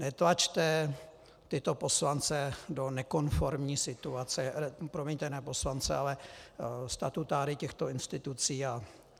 Netlačte tyto poslance do nekonformní situace - promiňte, ne poslance, ale statutáry těchto institucí.